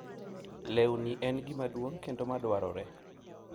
lewni en gima duong' kendo ma dwarore,